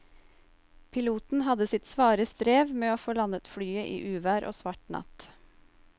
Piloten hadde sitt svare strev med å få landet flyet i uvær og svart natt.